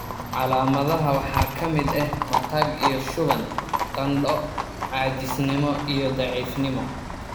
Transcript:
Calaamadaha waxaa ka mid ah matag iyo shuban, qandho, caajisnimo, iyo daciifnimo.